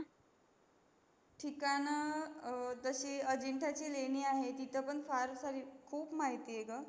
ठिकाण अं जशी अजिंतयाची लेणी आहे तित पण खूप माहिती आहे ग